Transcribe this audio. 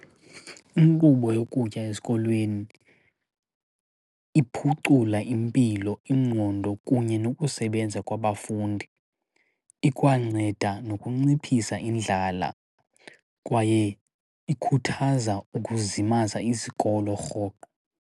Inkqubo yokutya esikolweni iphucula impilo, ingqondo, kunye nokusebenza kwabafundi. Ikwanceda nokunciphisa indlala kwaye ikhuthaza ukuzimasa isikolo rhoqo.